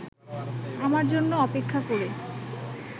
আমার জন্য অপেক্ষা করে